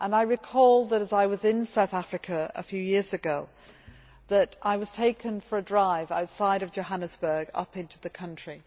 I recall that when I was in South Africa a few years ago, I was taken for a drive outside of Johannesburg up into the country.